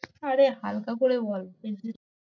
আরে হালকা করে বল